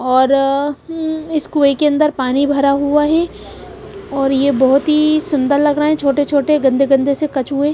और उम इस कुए के अंदर पानी भरा हुआ हैऔर यह बहुत ही सुंदर लग रहा है छोटे-छोटे गंदे-गंदे से कचुए .